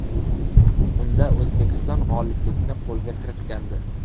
Unda O‘zbekiston g‘oliblikni qo‘lga kiritgandi.